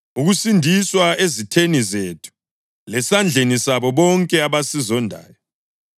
ukusindiswa ezitheni zethu lesandleni sabo bonke abasizondayo,